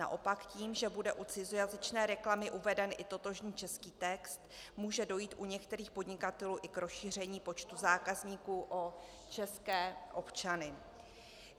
Naopak tím, že bude u cizojazyčné reklamy uveden i totožný český text, může dojít u některých podnikatelů i k rozšíření počtu zákazníků o české občany.